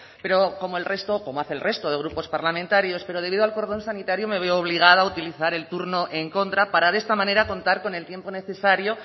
pero como el resto como hace el resto de grupos parlamentarios pero debido al cordón sanitario me veo obligada a utilizar el turno en contra para de esta manera contar con el tiempo necesario